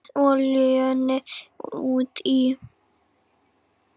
Bætið olíunni út í.